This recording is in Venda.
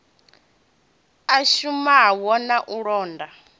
a shumaho na u londa